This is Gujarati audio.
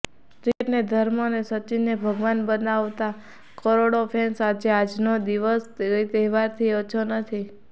ક્રિકેટને ધર્મ અને સચિનને ભગવાન બતાવવા કરોડો ફેન્સ માટે આજનો દિવસ કોઇ તહેવારથી ઓછો નથી